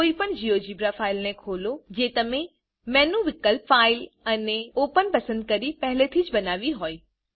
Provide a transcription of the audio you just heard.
કોઈ પણ GeoGebra file ને ખોલો જે તમે મેનુ વિકલ્પ ફાઇલ અને ઓપન પસંદ કરીને પહેલે થી જ બનાવી હોય